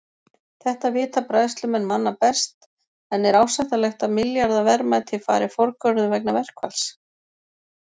Þetta vita bræðslumenn manna best en er ásættanlegt að milljarða verðmæti fari forgörðum vegna verkfalls?